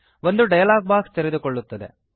ಒಂದು dialogue box ತೆರೆದುಕೊಳ್ಳುತ್ತದೆ